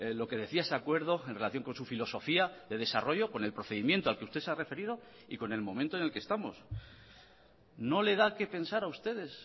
lo que decía ese acuerdo en relación con su filosofía de desarrollo con el procedimiento al que usted se ha referido y con el momento en el que estamos no le da qué pensar a ustedes